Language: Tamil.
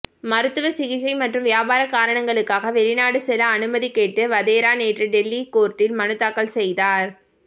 மருத்துவ சிகிச்சை மற்றும் வியாபார காரணங்களுக்காக வெளிநாடு செல்ல அனுமதி கேட்டு வதேரா நேற்று டெல்லி கோர்ட்டில் மனுத்தாக்கல் செய்தார்